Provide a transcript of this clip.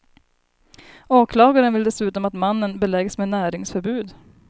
Åklagaren vill dessutom att mannen beläggs med näringsförbud.